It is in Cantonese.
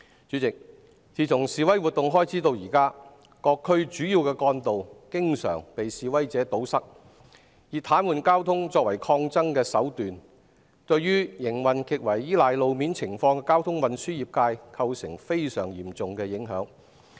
主席，自從示威活動開始至今，各區主要幹道經常被示威者堵塞，他們以癱瘓交通作為抗爭手段，對於營運極為依賴路面情況的交通運輸業界構成非常嚴重的影響。